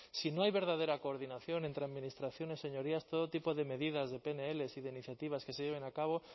si no hay verdadera coordinación entre administraciones señorías todo tipo de medidas de pnl y de iniciativas que se lleven a cabo